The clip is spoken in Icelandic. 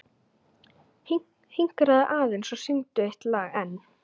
Hinkraðu aðeins og syngdu eitt lag enn.